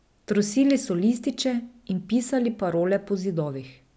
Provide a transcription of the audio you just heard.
Trosili so lističe in pisali parole po zidovih.